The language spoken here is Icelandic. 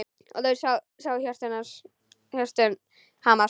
Og þau sáu hjörtun hamast.